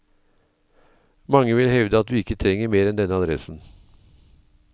Mange vil hevde at du ikke trenger mer enn denne adressen.